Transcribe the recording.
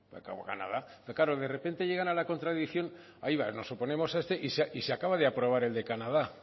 pero claro de repente llegan a la contradicción hay va nos oponemos a este y se acaba de aprobar el de canadá